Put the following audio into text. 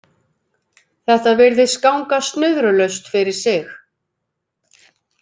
Þetta virðist ganga snurðulaust fyrir sig